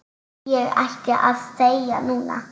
Ég ætti að þegja núna.